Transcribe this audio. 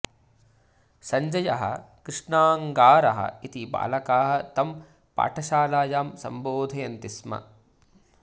सञ्जयः कृष्णाङगारः इति बालकाः तं पाठशालायां सम्बोधयन्ति स्म